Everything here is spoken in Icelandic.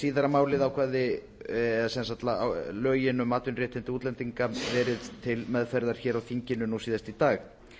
síðara eða sem sagt lögin um atvinnuréttindi útlendinga verið til meðferðar hér á þinginu nú síðast í dag